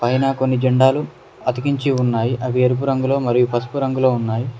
పైన కొన్ని జెండాలు అతికించి ఉన్నాయి అవి ఎరుపు రంగులో మరియు పసుపు రంగులో ఉన్నాయ్.